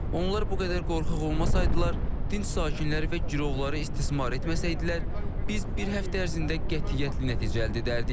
Onlar bu qədər qorxaq olmasaydılar, dinc sakinləri və girovları istismar etməsəydilər, biz bir həftə ərzində qətiyyətli nəticə əldə edərdik.